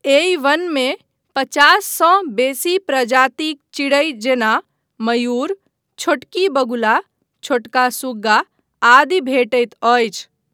एहि वनमे पचाससँ बेसी प्रजातिक चिड़ै जेना मयूर, छोटकी बगुला, छोटका सुग्गा आदि भेटैत अछि।